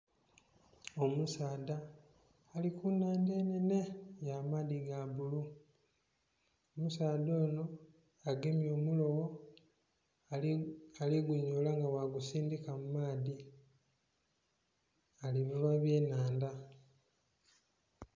Omusaadha ali kunhandha enhenhe ya maadhi ga bbululu, omusaadha ono agemye omulobo ali gunyola nga bwagusindhika mumaadhi alivuba eby'enhandha.